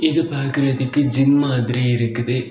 இது பாக்குறதுக்கு ஜிம் மாதிரி இருக்குது.